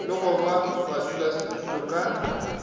le go ba badulasetulo ka